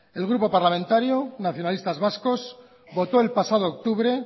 el grupo parlamentario nacionalistas vascos votó el pasado octubre